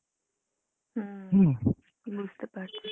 হুম বুঝতে পারছি।